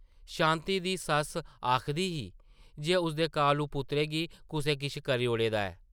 शांति दी सस्स आखदी ही जे उसदे कालू पुत्तरै गी कुसै किश करी ओड़े दा ऐ ।